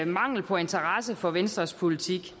mangel på interesse for venstres politik